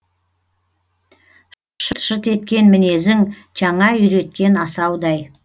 шырт шырт еткен мінезің жаңа үйреткен асаудай